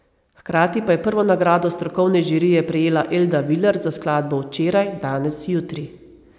Hkrati pa je prvo nagrado strokovne žirije prejela Elda Viler za skladbo Včeraj, danes, jutri.